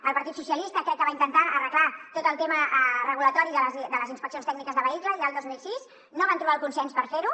el partit socialistes crec que va intentar arreglar tot el tema regulatori de les inspeccions tècniques de vehicles ja el dos mil sis no van trobar el consens per fer ho